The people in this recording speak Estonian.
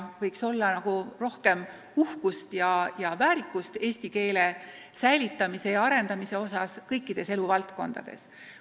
Võiks olla nagu rohkem uhkust ja väärikust, kui soovime eesti keelt säilitada ja arendada kõikides eluvaldkondades.